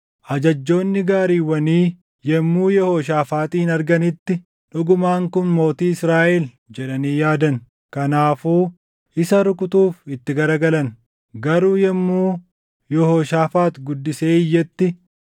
Ajajjoonni gaariiwwanii yommuu Yehooshaafaaxin arganitti, “Dhugumaan kun mootii Israaʼel” jedhanii yaadan. Kanaafuu isa rukutuuf itti garagalan; garuu yommuu Yehooshaafaax guddisee iyyetti,